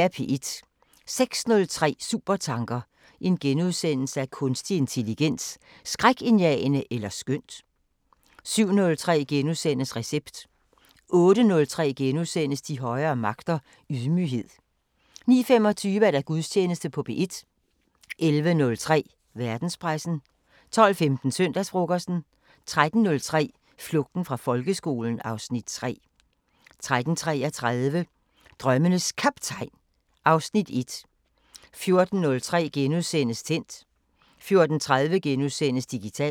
06:03: Supertanker: Kunstig intelligens; Skrækindjagende eller skønt * 07:03: Recept * 08:03: De højere magter: Ydmyghed * 09:25: Gudstjeneste på P1 11:03: Verdenspressen 12:15: Søndagsfrokosten 13:03: Flugten fra folkeskolen (Afs. 3) 13:33: Drømmenes Kaptajn (Afs. 1) 14:03: Tændt * 14:30: Digitalt *